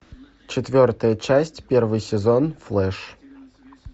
четвертая часть первый сезон флеш